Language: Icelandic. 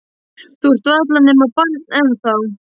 Þú ert varla nema barn ennþá.